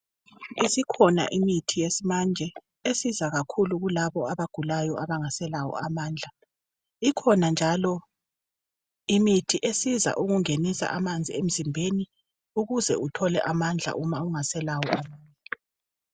Isikhona imithi yesimanje esiza kakhulu kulabo abagulayo abangaselawo amandla ikhona njalo imithi esiza ukungenisa amanzi emzimbeni ukuze uthole amandla uma ungaselawo